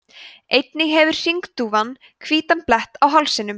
einnig hefur hringdúfan hvítan blett á hálsinum